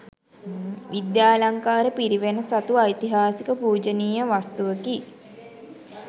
විද්‍යාලංකාර පිරිවෙන සතු ඓතිහාසික පූජනීය වස්තුවකි.